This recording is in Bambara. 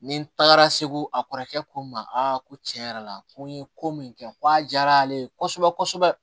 Ni tagara segu a kɔrɔkɛ ko n ma ko tiɲɛ yɛrɛ la ko n ye ko min kɛ ko a diyara ale ye kosɛbɛ kosɛbɛ